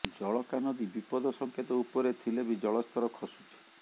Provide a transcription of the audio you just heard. ଜଳକା ନଦୀ ବିପଦ ସଂକେତ ଉପରେ ଥିଲେ ବି ଜଳସ୍ତର ଖସୁଛି